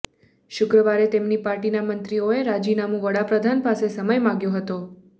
શુક્રવારે તેમની પાર્ટીના મંત્રીઓએ રાજીનામું વડાપ્રધાન પાસે સમય માંગ્યો હતો